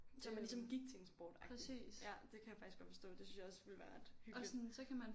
Så man ligesom gik til en sportagtigt ja det kan jeg faktisk godt forstå det synes jeg også ville være ret hyggeligt